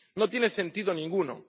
No tiene sentido ninguno.